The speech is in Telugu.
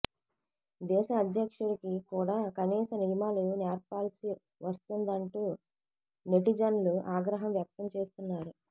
దేశ అధ్యక్షుడికి కూడా కనీస నియమాలు నేర్పాల్సి వస్తోందంటూ నెటిజన్లు ఆగ్రహం వ్యక్తం చేస్తున్నారు